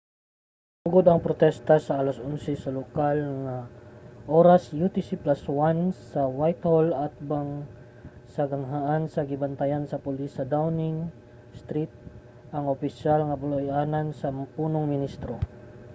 nagsugod ang protesta mga 11:00 sa lokal nga oras utc+1 sa whitehall atbang sa ganghaan nga gibantayan sa pulis sa downing street ang opisyal nga puluy-anan sa punong ministro